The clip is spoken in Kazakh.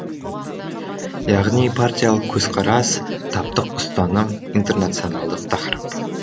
яғни партиялық көзқарас таптық ұстаным интернационалдық тақырып